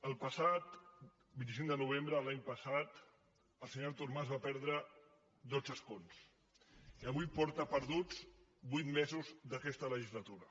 el passat vint cinc de novembre de l’any passat el senyor artur mas va perdre dotze escons i avui porta perduts vuit mesos d’aquesta legislatura